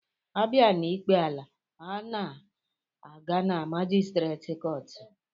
Abia n'ikpe ala, ọ na-aga na majistreet kọọtụ